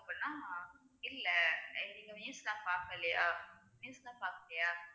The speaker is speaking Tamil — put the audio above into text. அப்படின்னா இல்லை நீங்க news லாம் பார்க்கலையா? news லாம் பார்க்கலையா